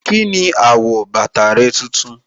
Kíni àwọ̀ bàtà rẹ tuntun.